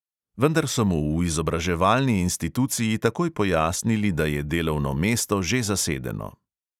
Vendar so mu v izobraževalni instituciji takoj pojasnili, da je delovno mesto že zasedeno.